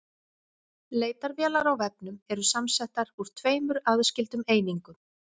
Leitarvélar á vefnum eru samsettar úr tveimur aðskildum einingum.